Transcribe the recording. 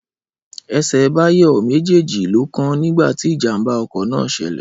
Ẹsẹ̀ Báyọ̀ méjèèjì ló kán nígbà tí ìjàmbá ọkọ̀ náà ṣẹlẹ̀